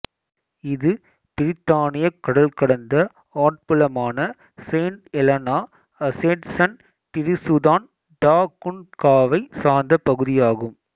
இது பிரித்தானியக் கடல் கடந்த ஆட்புலமான Saint Helena Ascension Tristan da குன்ஃகாவைச் சார்ந்த பகுதியாகும்